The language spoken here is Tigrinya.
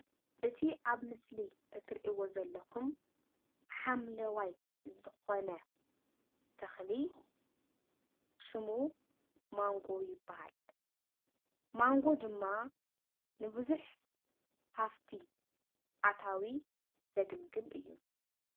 እቲ ኣብ ምስሊ እትሪእዎ ዘለኩም ሓምላዋይ ዝኮነ ተክሊ ሹሙ ማንጎ ይበሃል። ማንጎ ድማ ንብዙሕ ሃፍቲ ኣታዊ ዘገልግል እዩ።